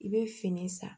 I bɛ fini san